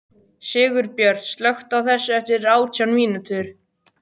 Sigurbjört, slökktu á þessu eftir átján mínútur.